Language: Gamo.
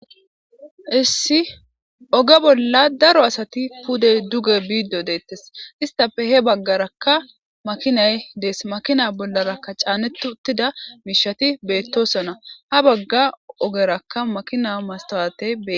Issi oge bola daro asati pude duge bide detes istape he bagaraka makinay des makina bolaraka c'aneti utida mishati betosona habaga ogerakka makina matuwate betes.